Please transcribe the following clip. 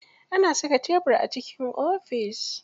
Ana saka tebir a cikin ofis.